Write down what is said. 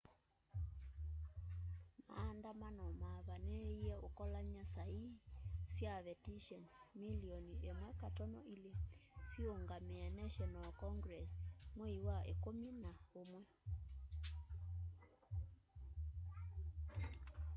maandamano mavaniie ukolany'a sa ii sya vetishoni milioni 1.2 siungamie national congress mwei wa ikumi na umwe